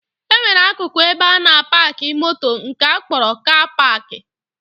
E nwere akụkụ ebe a na-apaakị moto nke akpọrọ 'kaa paakị'